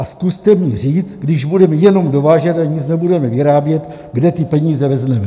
A zkuste mi říct, když budeme jenom dovážet a nic nebudeme vyrábět, kde ty peníze vezmeme.